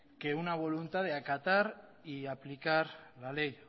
de una voluntad de acatar y aplicar la ley